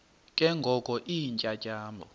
ke ngoko iintyatyambo